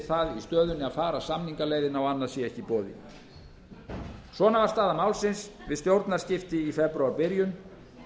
það í stöðunni að fara samningaleiðina og annað sé ekki í boði svona var staða málsins við stjórnarskipti í febrúarbyrjun